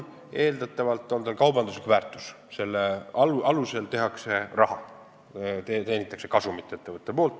Eeldatavalt on tal kaubanduslik väärtus, selle alusel tehakse raha, ettevõtja teenib kasumit.